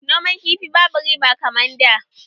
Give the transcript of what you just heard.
Noman kifi babu riba kaman da